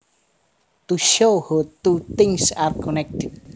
To shows how two things are connected